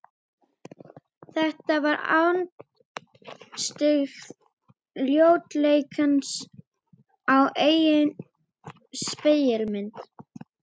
Þetta var andstyggð ljótleikans á eigin spegilmynd.